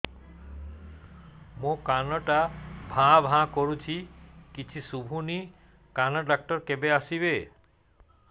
ମୋ କାନ ଟା ଭାଁ ଭାଁ କରୁଛି କିଛି ଶୁଭୁନି କାନ ଡକ୍ଟର କେବେ ଆସିବେ